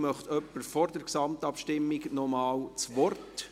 Möchte jemand vor der Gesamtabstimmung nochmals das Wort?